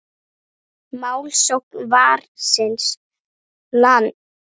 Málsókn Varins lands